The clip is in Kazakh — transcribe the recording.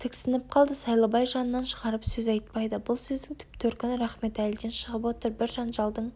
тіксініп қалды сайлыбай жанынан шығарып сөз айтпайды бұл сөздің түп төркіні рахметәліден шығып отыр бір жанжалдың